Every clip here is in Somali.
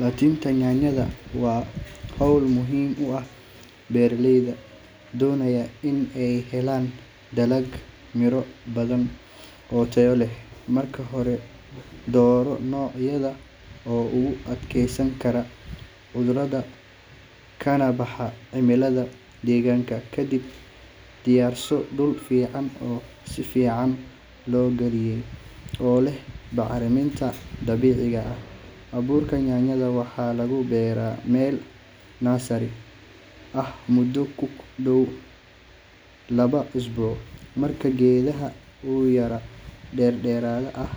Laan-tinta yaanyada waa hawl muhiim u ah beeraleyda doonaya in ay helaan dalag miro badan oo tayo leh. Marka hore, dooro nooc yaanyo oo u adkeysan kara cudurrada kana baxa cimilada deegaanka. Ka dib, diyaarso dhul fiican oo si fiican loo qalajiyey oo leh bacriminta dabiiciga ah. Abuurka yaanyada waxaa lagu beeraa meel nursery ah muddo ku dhow laba isbuuc. Markii geedka uu gaaro dherer ah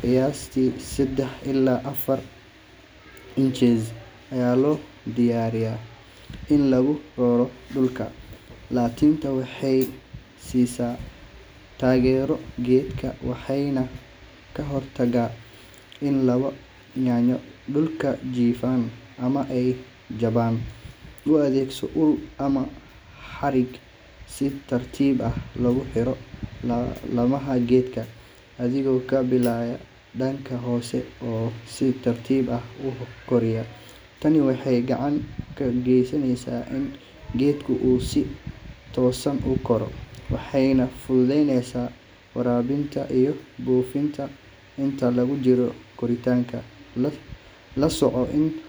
qiyaastii sedex ilaa afar inches, ayaa loo diyaariyaa in lagu raro dhulka. Laantintu waxay siisaa taageero geedka, waxayna ka hortagtaa in laamo yaanyadu dhulka jiifaan ama ay jabaan. U adeegso ul ama xarig si tartiib ah loogu xiro laamaha geedka, adigoo ka bilaabaya dhanka hoose oo si tartiib ah u koraya. Tani waxay gacan ka geysanaysaa in geedka uu si toosan u koro, waxayna fududeyneysaa waraabinta iyo buufinta. Inta lagu jiro koritaanka, la soco in .